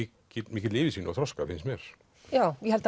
mikilli yfirsýn og þroska finnst mér ég held að